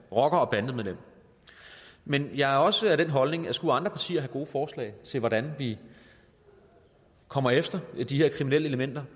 rocker og bandemedlem men jeg har også den holdning at skulle andre partier have gode forslag til hvordan vi kommer efter de her kriminelle elementer